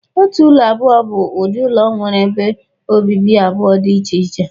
Otu ụlọ abụọ bụ ụdị ụlọ nwere ebe obibi abụọ dị iche iche.